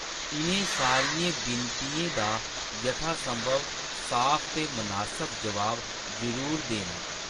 इʼनें सारियें विनतियें दा यथासंभव साफ ते मनासब जवाब जरूर देना।